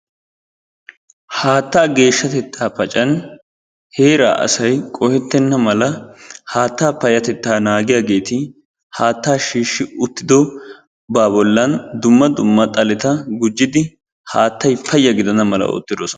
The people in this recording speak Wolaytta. Haattaa geeshshatettaa paccan heeraa asay qohetenna mala haata payatettaa naagiyaageeti haattaa shiishi uttidobaa bolan dumma dumma xaleta gujjidi haattay paya gidana mala ootidosona.